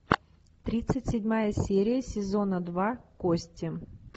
тридцать седьмая серия сезона два кости